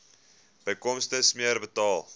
bykomende smere betaal